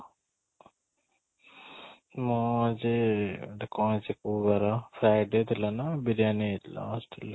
ମୁଁ ଆଜି ଏଇଟା କ'ଣ ହେଇଛି ଏଇଟା କୋଉ ବାର Friday ଥିଲା ନା biriyani ହେଇଥିଲା hostel ରେ